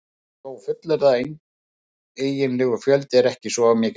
Það má þó fullyrða að eiginlegur fjöldi er ekki svo mikill.